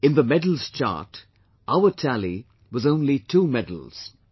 In the medals chart, our tally was only two medals